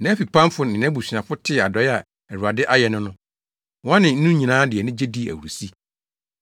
Nʼafipamfo ne nʼabusuafo tee adɔe a Awurade ayɛ no no, wɔne no nyinaa de anigye dii ahurusi.